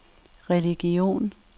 religion